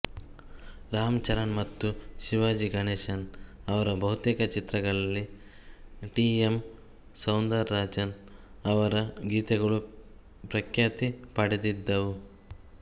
ರಾಮಚಂದ್ರನ್ ಮತ್ತು ಶಿವಾಜಿ ಗಣೇಶನ್ ಅವರ ಬಹುತೇಕ ಚಿತ್ರಗಳಲ್ಲಿ ಟಿ ಎಮ್ ಸೌಂದರರಾಜನ್ ಅವರ ಗೀತೆಗಳು ಪ್ರಖ್ಯಾತಿ ಪಡೆದಿದ್ದವು